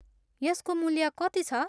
यसको मूल्य कति छ?